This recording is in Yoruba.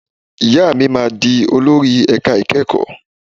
Ìyá mi máa di olórí ẹ̀ka ìkẹ́kọ̀ọ́.